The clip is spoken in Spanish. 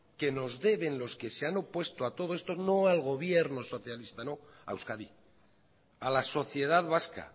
que nos deben los que se han opuesto a todo esto no al gobierno socialista a euskadi a la sociedad vasca